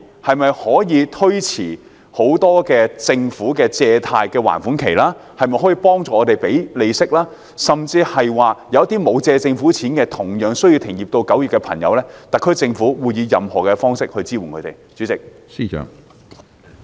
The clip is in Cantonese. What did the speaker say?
例如政府可否推遲借貸的還款期或幫助支付利息，而對於那些沒有向政府借貸但同樣需要停業至9月的漁民，特區政府又會以甚麼方式支援他們？